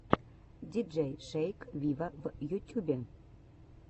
диджей шейк виво в ютюбе